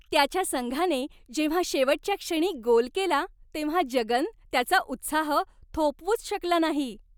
त्याच्या संघाने जेव्हा शेवटच्या क्षणी गोल केला तेव्हा जगन त्याचा उत्साह थोपवूच शकला नाही.